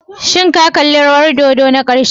Shin ka kalli rawar dodo na ƙarshe?